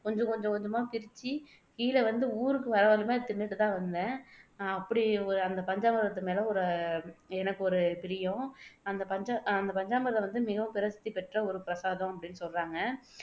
கொஞ்ச கொஞ்சமா பிரிச்சு கீழ வந்து ஊருக்கு வர்ற வரையிலுமே அதை திண்ணுட்டு தான் வந்தேன் அஹ் அப்படி ஒரு அந்த பஞ்சாமிர்தத்து மேல ஒரு எனக்கு ஒரு பிரியம் அந்த பஞ்சா அந்த பஞ்சாமிர்தம் வந்து மிகவும் பிரசித்து பெற்ற ஒரு பிரசாதம் அப்படின்னு சொல்றாங்க